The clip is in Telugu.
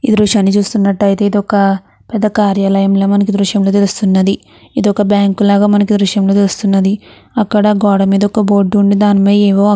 దృశ్యాన్ని చూస్తున్నట్లయితే ఇది ఒక పెద్ద కార్యాలయంలా మనకి దృష్టిలో తెలుస్తున్నది. ఇది ఒక బ్యాంక్ లాగా మనకి ఈ దృశ్యంలో తెలుస్తున్నది. అక్కడ ఒక గోడ మీద బోర్డు ఉంది. దానిపైన ఏవో--